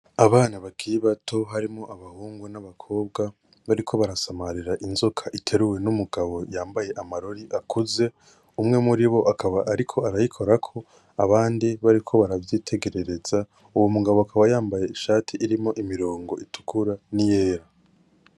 Abana bakiri bato harimwo abahungu nabakobwa bariko barasamarira inzoka iteruwe numugabo yambaye amarori akoze umwe muribo akaba ariko arayikorako abandi bariko baravyitegerereza uwo mugabo akaba yambaye ishati irimwo imirongo itukura niyera.